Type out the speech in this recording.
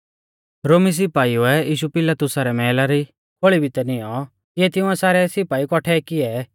रोमी सिपाईउ ऐ यीशु पिलातुसा रै मैहला री खोल़ी भितै निऔं तिऐ तिंउऐ सारै सिपाई कौठै कियै